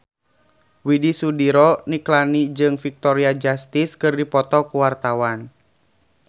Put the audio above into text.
Widy Soediro Nichlany jeung Victoria Justice keur dipoto ku wartawan